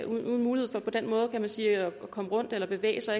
uden mulighed for på den måde kan man sige at komme rundt eller bevæge sig